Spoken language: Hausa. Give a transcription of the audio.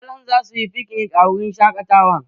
Iyalan za su yi fiknik a wurin shaƙatawan